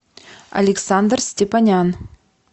александр степанян